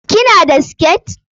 Ki na da siket?